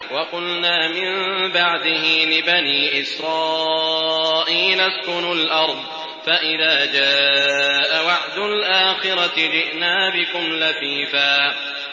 وَقُلْنَا مِن بَعْدِهِ لِبَنِي إِسْرَائِيلَ اسْكُنُوا الْأَرْضَ فَإِذَا جَاءَ وَعْدُ الْآخِرَةِ جِئْنَا بِكُمْ لَفِيفًا